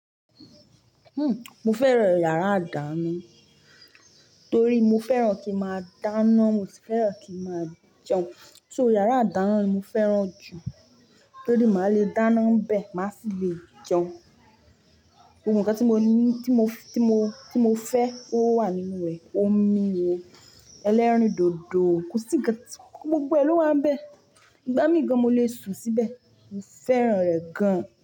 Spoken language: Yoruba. Mo fẹ́ràn yàrá ìdáná torí mo fẹ́ràn ki máa dáná, mo sì fẹ́ràn kí máa jẹun. So yàrá ìdáná ni mo fẹ́ràn jù torí màá le dáná 'bè, màá sì lè jẹun. Gbogbo ǹkan tí mo ní, tí mo, tí mo, tí mo fẹ́ ó wà nínú rẹ̀, omi ni o, ẹlẹ́rìndòdò, kò sí ń kan tí, gbogbo ẹ̀ ló wà ń bè. Ìgbà míì gan mo le sùn síbẹ̀. Mo fẹ́ràn rẹ̀ gan.